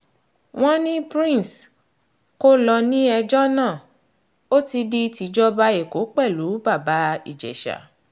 wọ́n ní prince kó lọ ní ẹjọ́ náà mo o ti di tìjọba ẹ̀kọ́ pẹ̀lú bàbá ìjèṣà